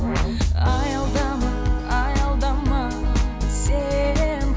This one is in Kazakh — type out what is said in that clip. аялдама аялдама сен